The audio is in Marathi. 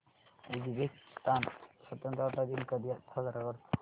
उझबेकिस्तान स्वतंत्रता दिन कधी साजरा करतो